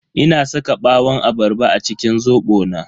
Ina saka ɓawon abarba a cikin zobo na.